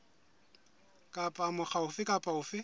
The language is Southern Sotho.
kapa mokga ofe kapa ofe